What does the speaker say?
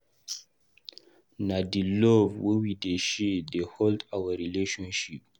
Na di love wey we dey share dey hold our relationship.